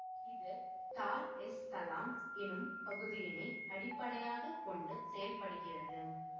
இது Dar es Salaam எனும் பகுதியினை அடிப்படையாக கொண்டு செயல்படுகிறது